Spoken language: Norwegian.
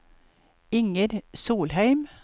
Inger Solheim